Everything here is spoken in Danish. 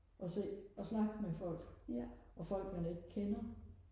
og se og snakke med folk og folk man ikke kender